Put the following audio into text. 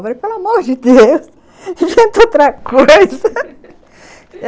Eu falei, pelo amor de Deus, inventa outra coisa!